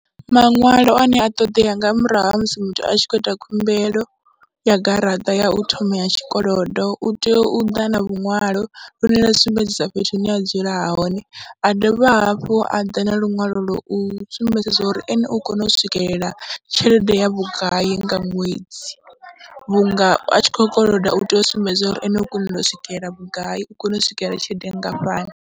Maṅwalo ane a ṱoḓea nga murahu ha musi muthu a tshi khou ita khumbelo ya garaṱa ya u thoma ya tshikolodo, u tea u ḓa na luṅwalo lune lwa sumbedzisa fhethu hune a dzula hone, a dovha hafhu a ḓa na luṅwalo lwa u sumbedzisa uri ene u kona u swikelela tshelede ya vhugai nga ṅwedzi vhunga a tshi khou koloda u tea u sumbedza uri ene u kona u swikelela vhugai, u kone u swikelela tshelede nngafhani.